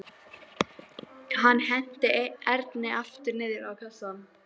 Hann henti Erni aftur niður á kassann.